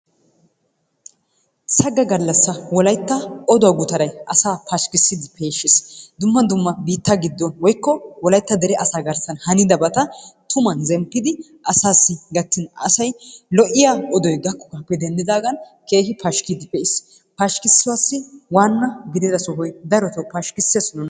Sagga gallassa wolaytta oduwa guttaray asaa pashikkissiidi peeshshees dumma dumma biittaa giddo woykko wolaytta dere asaa garssan haniddabata tumman zemppidi asaassi gattin asay lo'iya odoy gakkoogaappe denddidaagan keehi pashikkidi pe'iis. Pashkisuwaassi waanna gidida sohoy daroto pashkkissees nuna.